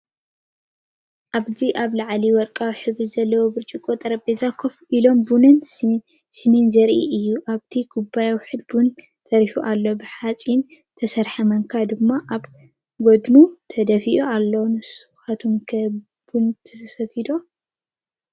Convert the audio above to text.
እባዚ ኣብ ልዕሊ ወርቃዊ ሕብሪ ዘለዎ ብርጭቆ ጠረጴዛ ኮፍ ኢሎም ቡንን ሳእንን ዘርኢ እዩ። ኣብቲ ኩባያ ውሑድ ቡን ተሪፉ ኣሎ፡ ብሓጺን ዝተሰርሐ ማንካ ድማ ኣብ ጎድኑ ተደፊኡ ኣሎ። ንስኩም ከ ቡን ትሰትዩ ዶ?